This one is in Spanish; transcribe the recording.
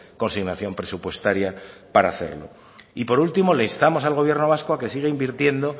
consignación presupuestaria para hacerlo y por último le instamos al gobierno vasco a que siga invirtiendo